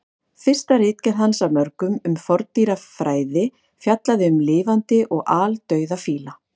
Fyrsta ritgerð hans af mörgum um forndýrafræði fjallaði um lifandi og aldauða fíla.